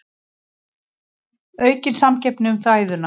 Aukin samkeppni um fæðuna